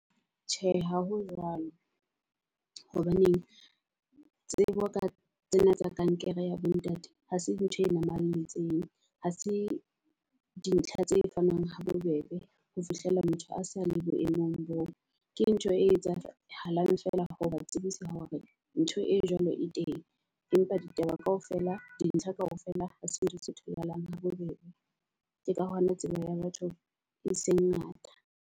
Tjhe, ha ho jwalo. Hobaneng tsebo ka tsena ka tsa kankere, ya bo ntate ha se ntho e namalletseng, Ha se di ntlha tse fanwang ho bobebe ho fihlela motho a sa le boemong boo. Ke ntho e etsahalang feela ho ba tsebisa hore ntho e jwalo e teng, empa ditaba kaofela di ntlha kaofela ha se ntho tse tholahalang ha bobebe. Ke ka hona tsebo ya batho e seng ngata.